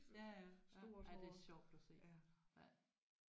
Ja ja ja ja det er sjovt at se ja